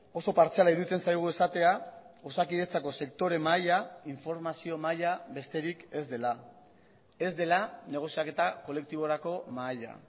oso partziala iruditzen zaigu esatea osakidetzako sektore mahaia informazio mahaia besterik ez dela ez dela negoziaketa kolektiborako mahaia